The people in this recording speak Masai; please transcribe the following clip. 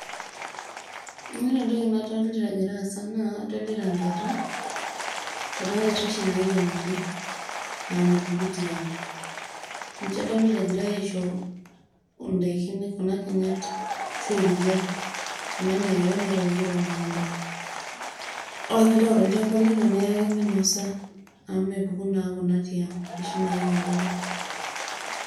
Ore entoki nadolita egira aasa naa kadolita inkerra, inkuti kerra oshi naikenori naa mepuku tiang', ninche adolita egirai aisho indaiki, kuna kinyat ashu erikia, kuna rikia naitayuoki te emukunda ore peyie intayu tolchamba lino niyaki minosa amu mepuku naa kuna tiang', inoshi naikenoro.